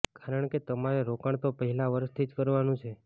કારણ કે તમારે રોકાણ તો પહેલા વર્ષથી જ કરવાનું છે